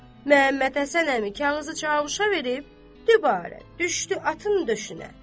Məhəmməd Həsən əmi kağızı Çavuşa verib, dübarə düşdü atın döşünə.